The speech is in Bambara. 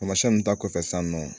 Tamasiyɛn nunnu ta kɔfɛ sisan nɔ